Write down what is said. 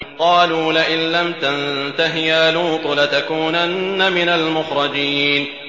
قَالُوا لَئِن لَّمْ تَنتَهِ يَا لُوطُ لَتَكُونَنَّ مِنَ الْمُخْرَجِينَ